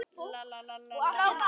Solla rétti honum síðasta kort.